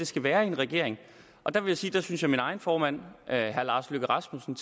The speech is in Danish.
skal være i en regering der vil jeg sige at min egen formand herre lars løkke rasmussen